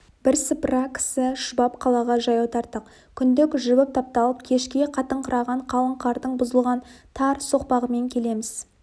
бірсыпыра кісі шұбап қалаға жаяу тарттық күндік жібіп тапталып кешке қатыңқыраған қалың қардың бұзылған тар соқпағымен келеміз